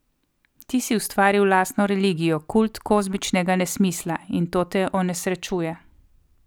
Ti si ustvaril lastno religijo, kult kozmičnega nesmisla, in to te onesrečuje.